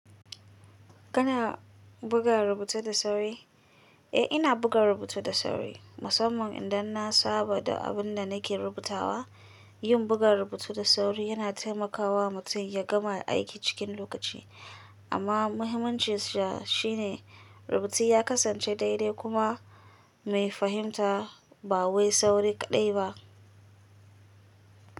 Kana buga rubutu da sauri? Eh, ina buga rubutu da sauri, musamman idan na saba da abin da nake rubutawa. Yin buga rubutu da sauri yana taimakawa mutum ya gama aiki cikin lokaci. Amma muhimmancinsa shine rubutun ya kasance daidai kuma mai fahimta ba wai sauri kaɗai ba.